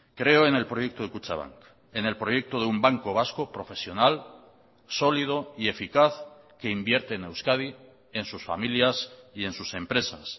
creo en el proyecto de kutxabank en el proyecto de un banco vasco profesional sólido y eficaz que invierte en euskadi en sus familias y en sus empresas